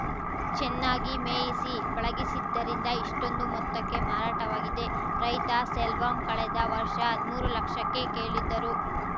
ಚೆನ್ನಾಗಿ ಮೇಯಿಸಿ ಪಳಗಿಸಿದ್ದರಿಂದ ಇಷ್ಟೊಂದು ಮೊತ್ತಕ್ಕೆ ಮಾರಾಟವಾಗಿದೆ ರೈತ ಸೆಲ್ವಂ ಕಳೆದ ವರ್ಷ ಹದ್ಮೂರು ಲಕ್ಷಕ್ಕೆ ಕೇಳಿದ್ದರು